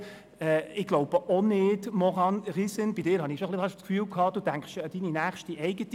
Maurane Riesen, ich glaube auch nicht, dass die Kandidaten des Berner Juras dann «systématiquement discriminés» wären.